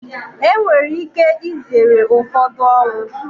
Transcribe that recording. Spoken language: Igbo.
Enwere ike izere ụfọdụ ọnwụ.